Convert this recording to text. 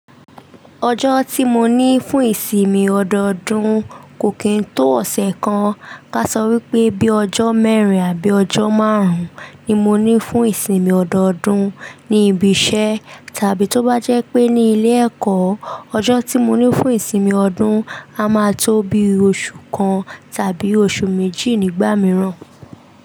Ọjọ́ tí mo ní fún ìsinmi ọdọọdún kò kín tó ọ̀sẹ̀ kan. Ka sọ wípé bí ọjọ́ mẹ́rin àbí ọjọ́ márùn-ún ni mo ní fún ìsinmi ọdọọdún ni ibi iṣẹ́ tàbí tó bá jẹ́ pé ní ilé ẹ̀kọ́, ọjọ́ tí mo ní fún ìsinmi ọdún a máa tó bí oṣù kan tàbí oṣù méjì nígbà mìíràn.